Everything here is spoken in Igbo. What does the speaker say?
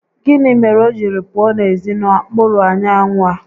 Gịnị mere o jiri pụọ n'ezi n'okpuru anyanwụ a?